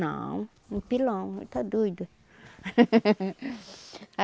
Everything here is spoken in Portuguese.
Não, um pilão, está doida?